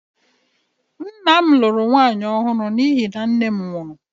Nna m lụrụ nwaanyị ọhụrụ n’ihi na nne m nwụrụ